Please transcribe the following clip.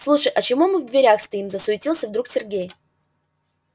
слушай а чего мы в дверях стоим засуетился вдруг сергей